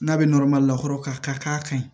N'a bɛ lakɔrɔ ka k'a ka ɲi